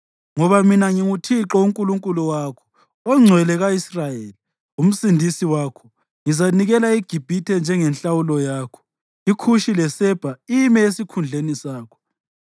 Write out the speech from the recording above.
Ngoba mina nginguThixo uNkulunkulu wakho, oNgcwele ka-Israyeli, uMsindisi wakho. Ngizanikela iGibhithe njengenhlawulo yakho, iKhushi leSebha ime esikhundleni sakho.